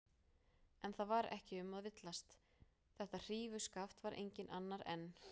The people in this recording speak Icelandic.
En það var ekki um að villast: Þetta hrífuskaft var enginn annar en